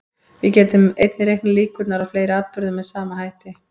Við getum einnig reiknað líkurnar á fleiri atburðum með sama hætti.